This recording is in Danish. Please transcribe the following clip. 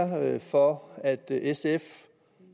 for at sf